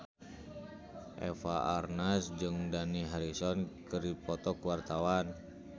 Eva Arnaz jeung Dani Harrison keur dipoto ku wartawan